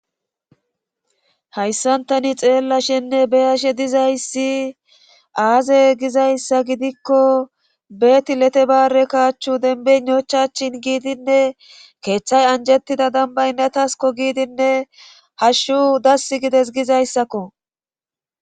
Hayssan tani xeellashenne beyashe dizayssi aaze gizayssa gidikko betilete baare kaachchu denbenochachchin giidinne keeththay anjettida dambaynetasko giidinne hashshu dass gides gizayssakko.